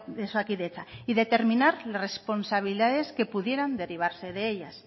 de osakidetza y determinar responsabilidades que pudieran derivarse de ellas